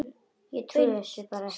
Ég trúði þessu bara ekki.